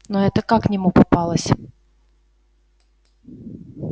но эта как к нему попалась